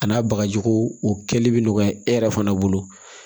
A n'a bagajiko o kɛli bi nɔgɔya e yɛrɛ fana bolo